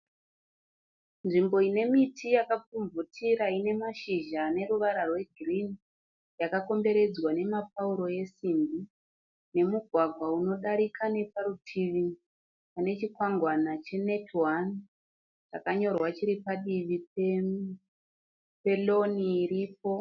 Nzvimbo ine miti yakapfumvutira ine mashizha ane ruvara rwegirini yakakomberedzwa nemapauro esimbi nemugwagwa unodarika neparutivi pane chikwangwana che "Netone" chakanyorwa chiri padivi pe "lawn" iripo.